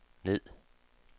ned